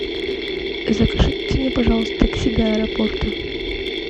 закажите мне пожалуйста такси до аэропорта